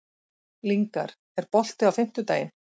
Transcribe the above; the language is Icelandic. Lyngar, er bolti á fimmtudaginn?